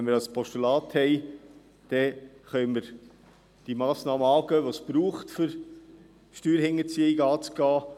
Wenn wir aber ein Postulat haben, können wir die Massnahmen ergreifen, die es braucht, um Steuerhinterziehung anzugehen.